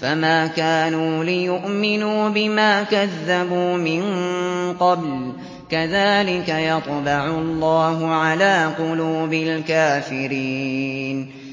فَمَا كَانُوا لِيُؤْمِنُوا بِمَا كَذَّبُوا مِن قَبْلُ ۚ كَذَٰلِكَ يَطْبَعُ اللَّهُ عَلَىٰ قُلُوبِ الْكَافِرِينَ